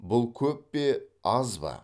бұл көп пе аз ба